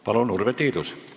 Palun, Urve Tiidus!